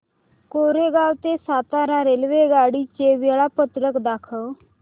कोरेगाव ते सातारा रेल्वेगाडी चे वेळापत्रक दाखव